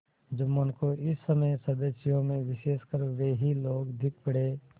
जुम्मन को इस समय सदस्यों में विशेषकर वे ही लोग दीख पड़े